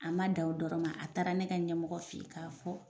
An ma dan o dɔrɔn ma a taara ne ka ɲɛmɔgɔ feyi k'a fɔ.